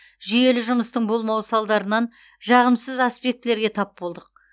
жүйелі жұмыстың болмауы салдарынан жағымсыз аспектілерге тап болдық